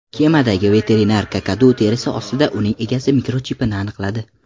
Kemadagi veterinar kakadu terisi ostida uning egasi mikrochipini aniqladi.